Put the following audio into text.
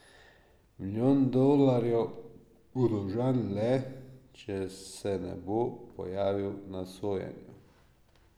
Milijon dolarjev bo dolžan le, če se ne bo pojavil na sojenju.